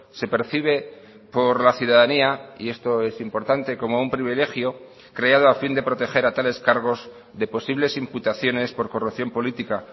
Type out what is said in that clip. se percibe por la ciudadanía y esto es importante como un privilegio creado a fin de proteger a tales cargos de posibles imputaciones por corrupción política